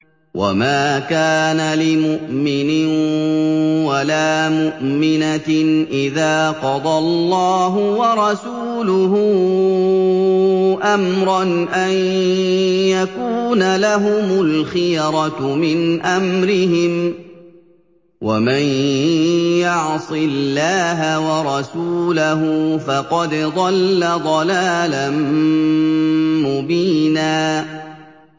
وَمَا كَانَ لِمُؤْمِنٍ وَلَا مُؤْمِنَةٍ إِذَا قَضَى اللَّهُ وَرَسُولُهُ أَمْرًا أَن يَكُونَ لَهُمُ الْخِيَرَةُ مِنْ أَمْرِهِمْ ۗ وَمَن يَعْصِ اللَّهَ وَرَسُولَهُ فَقَدْ ضَلَّ ضَلَالًا مُّبِينًا